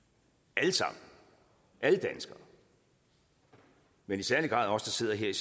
alle sammen alle danskere men i særlig grad os der sidder her